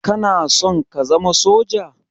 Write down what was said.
Kanason ka zama soja?